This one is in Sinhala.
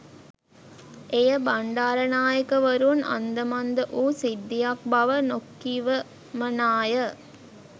එය බණ්ඩාරනායකවරුන් අන්ද මන්ද වූ සිද්ධියක් බව නොකිවමනාය